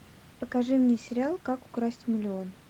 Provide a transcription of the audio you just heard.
покажи мне сериал как украсть миллион